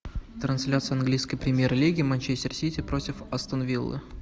трансляция английской премьер лиги манчестер сити против астон виллы